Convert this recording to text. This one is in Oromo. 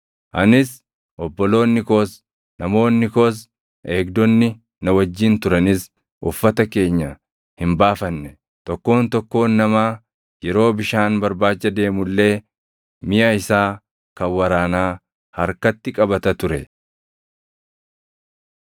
Anis, obboloonni koos, namoonni koos, eegdonni na wajjin turanis uffata keenya hin baafanne; tokkoon tokkoon namaa yeroo bishaan barbaacha deemu illee miʼa isaa kan waraanaa harkatti qabata ture.